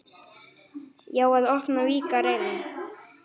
Já, að opna, víkka, reyna.